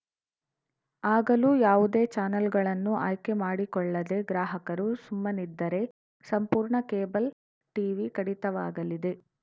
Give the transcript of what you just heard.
ಆಗಲೂ ಯಾವುದೇ ಚಾನೆಲ್‌ಗಳನ್ನು ಆಯ್ಕೆ ಮಾಡಿಕೊಳ್ಳದೇ ಗ್ರಾಹಕರು ಸುಮ್ಮನಿದ್ದರೆ ಸಂಪೂರ್ಣ ಕೇಬಲ್‌ ಟೀವಿ ಕಡಿತವಾಗಲಿದೆ